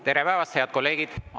Tere päevast, head kolleegid!